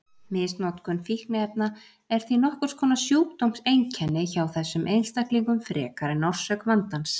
Misnotkun fíkniefna er því nokkurs konar sjúkdómseinkenni hjá þessum einstaklingum frekar en orsök vandans.